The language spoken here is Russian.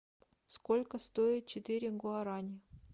сколько стоит четыре гуарани